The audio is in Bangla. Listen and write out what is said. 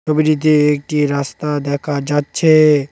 ছবিটিতে একটি রাস্তা দেখা যাচ্ছে।